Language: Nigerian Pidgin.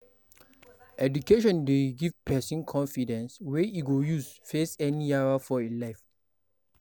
Education dey give pesin confidence wey e go use face any yawa for e life.